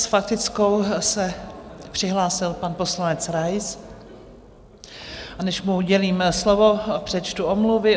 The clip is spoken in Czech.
S faktickou se přihlásil pan poslanec Rais, a než mu udělím slovo, přečtu omluvy.